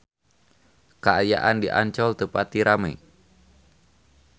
Kaayaan di Ancol teu pati rame